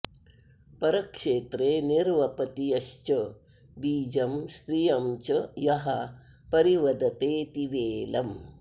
परक्षेत्रे निर्वपति यश्च बीजं स्त्रियं च यः परिवदतेऽतिवेलम्